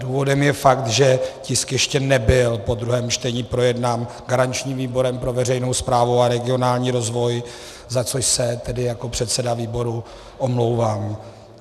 Důvodem je fakt, že tisk ještě nebyl po druhém čtení projednán garančním výborem pro veřejnou správu a regionální rozvoj, za což se tedy jako předseda výboru omlouvám.